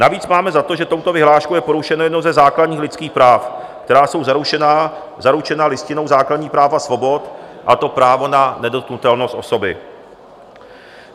Navíc máme za to, že touto vyhláškou je porušeno jedno ze základních lidských práv, která jsou zaručena Listinou základních práv a svobod, a to právo na nedotknutelnost osoby.